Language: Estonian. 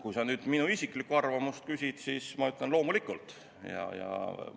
Kui sa nüüd minu isiklikku arvamust küsid, siis ma ütlen, et loomulikult.